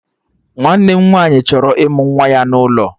Nwanne m nwaanyị chọrọ ịmụ nwa ya n'ụlọ